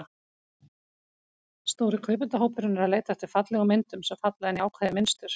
Stóri kaupendahópurinn er að leita eftir fallegum myndum, sem falla inn í ákveðið mynstur.